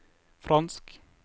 fransk